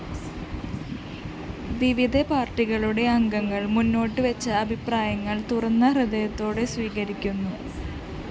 വിവിധ പാര്‍ട്ടികളുടെ അംഗങ്ങള്‍ മുന്നോട്ടുവെച്ച അഭിപ്രായങ്ങള്‍ തുറന്ന ഹൃദയത്തോടെ സ്വീകരിക്കുന്നു